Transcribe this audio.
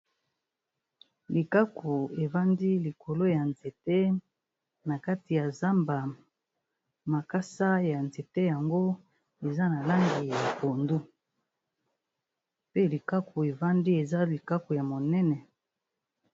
Likaku e vandi likolo ya nzete na kati ya zamba . Makasa ya nzete yango eza na langi ya pondu pe likaku e vandi, eza likaku ya monene.